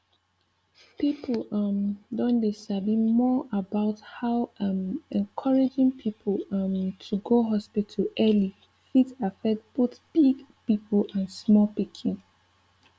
people um don dey sabi more about how um encouraging people um to go hospital early fit affect both big people and small pikin